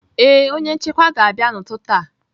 Ee, onye nchekwa ga-abịa n'ụtụtụ a.